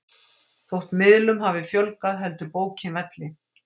Þótt miðlum hafi fjölgað heldur bókin velli.